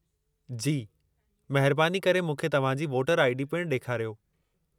जी। महिरबानी करे मूंखे तव्हां जी वोटर आई.डी. पिणु ॾेखारियो।